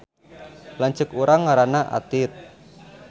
Lanceuk urang ngaranna Atit